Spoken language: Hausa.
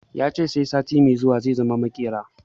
Ya ce sai sati mai zuwa zai zama maƙera